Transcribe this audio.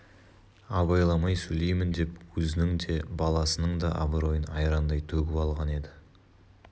абайламай сөйлеймін деп өзінің де баласының да абыройын айрандай төгіп алған еді